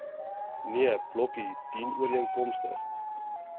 nee blokkie dienooreenkomstig